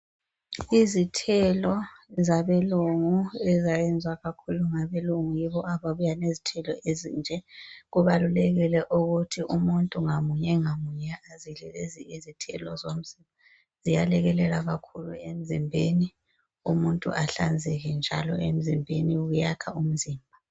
Izithelo zabelungu ezayezwa kakhulu ngabelungu yibo ababuya lezithelo ezinje. Kubalulekile ukuthi umuntu ngamunye ngamunye azidle lezi izithelo zomzimba. Ziyalekeleka kakhulu emzimbeni, umuntu ahlanzeke njalo emzimbeni, kuyakha umzimba.